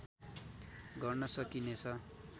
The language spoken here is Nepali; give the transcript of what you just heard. गर्न सकिनेछ